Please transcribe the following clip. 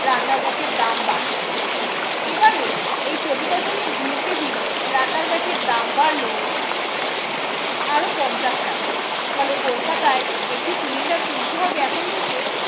রান্নার gas এর দাম বাড়ছে। এবারে এই চৌদ্দ দশমিক দুই কেজির রান্নার gas এর দাম বাড়লো আরো পঞ্চাশ টাকা, ফলে কলকাতায় একটি cylinder কিনতে হবে এখন থেকে